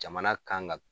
Jamana kan ka